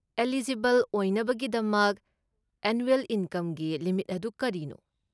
Eligible ꯑꯣꯏꯅꯕꯒꯤꯗꯃꯛ annual ꯏꯟꯀꯝꯒꯤ limit ꯑꯗꯨ ꯀꯔꯤꯅꯣ?